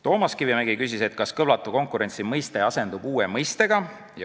Toomas Kivimägi küsis, kas kõlvatu konkurentsi mõiste asendub uue mõistega.